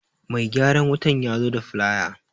Mai gyaran wutan yazo da filaya